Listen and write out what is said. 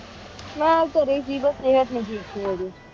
ਮੈਂ ਘਰੀ ਹੇ ਸੇ ਬਾਸ ਸੇਹਤ ਨਹੀ ਠੀਕ ਸੇ ਮੇਰੀ